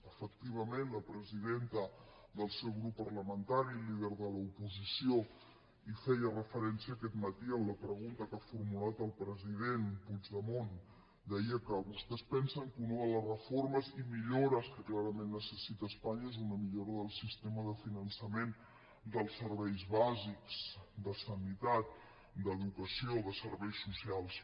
efectivament la presidenta del seu grup parlamentari líder de l’oposició hi feia referència aquest matí en la pregunta que ha formulat al president puigdemont deia que vostès pensen que una de les reformes i millores que clarament necessita espanya és una millora del sistema de finançament dels serveis bàsics de sanitat d’educació de serveis socials